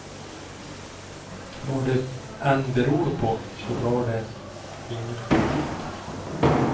Vad det än beror på så drar de ingen publik.